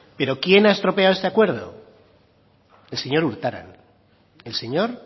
pero quién ha estropeado este acuerdo el señor urtaran el señor